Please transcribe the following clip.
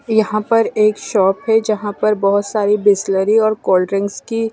यहां पर एक शॉप है यहाँ पर बहुत सारी बिसलरी और कोल्ड्रिंक्स की--